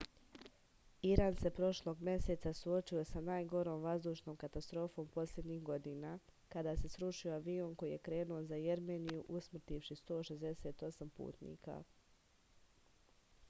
iran se prošlog meseca suočio sa najgorom vazdušnom katastrofom poslednjih godina kada se srušio avion koji je krenuo za jermeniju usmrtivši 168 putnika